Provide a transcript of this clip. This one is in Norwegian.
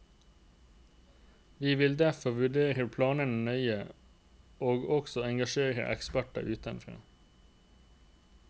Vi vil derfor vurdere planene nøye, og også engasjere eksperter utenfra.